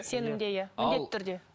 сенімде иә міндетті түрде